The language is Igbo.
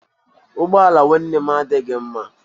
Ụgbọ ala nwanne m adịghị mma.